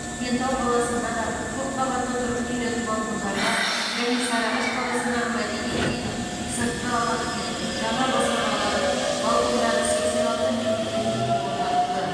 кентау қаласында да көпқабатты тұрғын үйлердің балкондарына және сарыағаш қаласындағы мәдениет үйінің сыртқы алаңы мен жаңа баспаналардың балкондары сексен алты мемлекеттік ту орнатылды